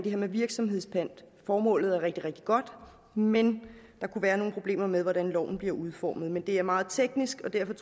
her med virksomhedspant formålet er rigtig rigtig godt men der kunne være nogle problemer med hvordan loven bliver udformet men det er meget teknisk og derfor